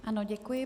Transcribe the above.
Ano, děkuji.